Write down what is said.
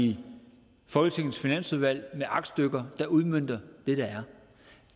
i folketingets finansudvalg med aktstykker der udmønter